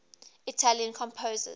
italian composers